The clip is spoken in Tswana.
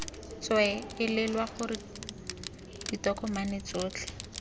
tswee elelwa gore ditokomane tsotlhe